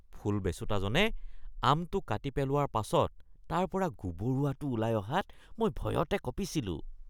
ফল বেচোঁতাজনে আমটো কাটি পেলোৱাৰ পাছত তাৰ পৰা গুবৰুৱাটো ওলাই অহাত মই ভয়তে কঁপিছিলোঁ